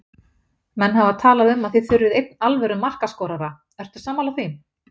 Menn hafa talað um að þið þurfið einn alvöru markaskorara, ertu sammála því?